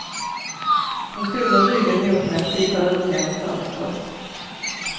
Hon stod med ryggen mot mig och tittade ut genom fönstret.